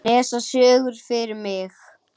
Les sögur fyrir mig.